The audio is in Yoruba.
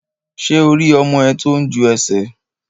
Ṣé o rí ọmọ ẹ tó ń ju ẹsẹ̀?